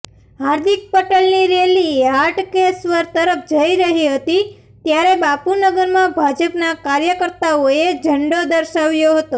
હાર્દિક પટેલની રેલી હાટ્કેશ્વર તરફ જઇ રહી હતી ત્યારે બાપુનગરમાં ભાજપના કાર્યકર્તાઓએ ઝંડો દર્શાવ્યો હતો